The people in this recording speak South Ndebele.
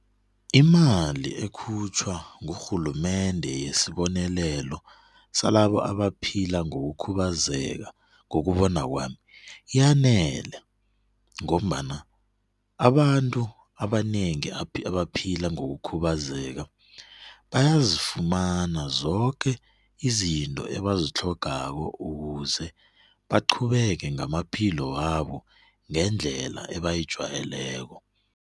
Imali ekhutjhwa ngurhulumende yesibonelelo salabo abaphila ngokukhubazeka ngokubona kwami yanele ngombana abantu abanengi abaphila ngokukhubazeka bayazifumana zoke izinto ebazitlhogako ukuze baqhubeke ngamaphilo wabo ngendlela abayijwayeleko.